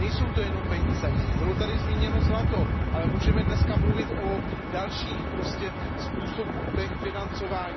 Nejsou to jenom peníze, bylo tady zmíněno zlato, ale můžeme dnes mluvit o dalších způsobech financování.